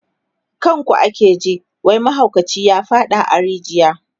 kan ku ake ji wai mahaukaci ya faɗa a rijiya